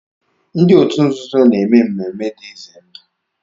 Ndị òtù nzuzo na-èmè mmemmé dị ize ndụ